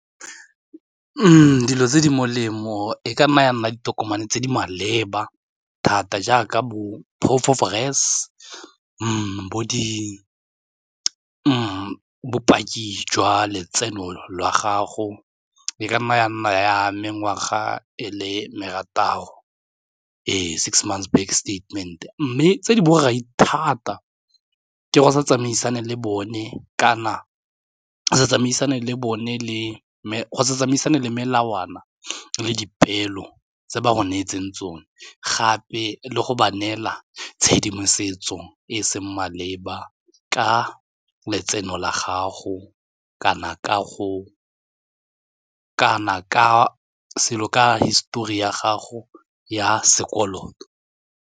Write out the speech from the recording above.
Dilo tse di molemo e ka nna ya nna ditokomane tse di maleba thata jaaka bo-proof of res, bopaki jwa letseno lwa gago di ka nna ya nna ya mengwaga e le marataro e six months bank statement mme tse di borai thata ke go sa tsamaisane le bone kana se tsamaisane le bone le tsamaisane le melawana le dipeelo tse ba go neetseng tsone gape le go ba neela tshedimosetso e e seng maleba ka letseno la gago kana ka selo ka histori ya gago ya sekoloto.